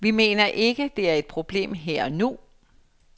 Vi mener ikke, at det er et problem her og nu.